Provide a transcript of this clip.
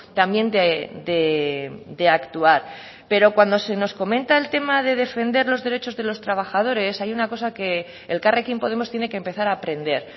también de actuar pero cuando se nos comenta el tema de defender los derechos de los trabajadores hay una cosa que elkarrekin podemos tiene que empezar a aprender